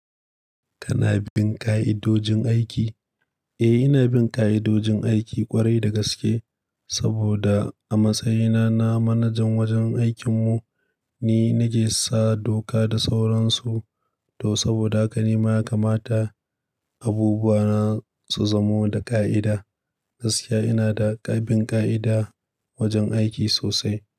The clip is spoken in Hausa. Kana bin ka'idojin aiki? Eh, ina bin ka'idojin aiki ƙwarai da gaske saboda a matsayina na manajan wajen aikinmu ni nake sa doka da sauransu. Toh saboda haka ni ma ya kamata abubuwa na su zamo da ka'ida. Gaskiya ina da ƙaɓin ƙa'ida wajen aiki sosai.